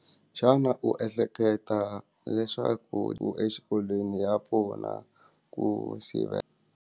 xana u ehleketa leswaku exikolweni ya pfuna ku sivela.